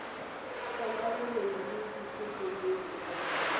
kgolwa boloi le dipoko le